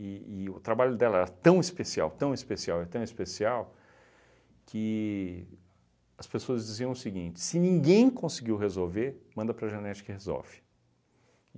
e o trabalho dela era tão especial, tão especial e tão especial, que as pessoas diziam o seguinte, se ninguém conseguiu resolver, manda para a Janete que resolve.